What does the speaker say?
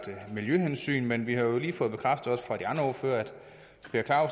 miljøhensyn men vi har jo lige fået bekræftet fra de